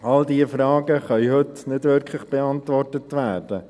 All diese Fragen können heute nicht wirklich beantwortet werden.